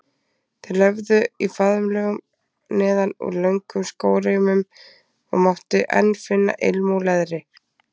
Þeir löfðu í faðmlögum neðan úr löngum skóreimum og mátti enn finna ilm úr leðri.